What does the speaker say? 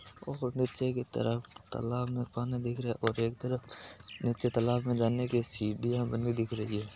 और निचे की तरफ तालाब में पानी दिख रहा है और एक तरफ निचे तालाब में जाने की सिडिंया बनी दिख रही है।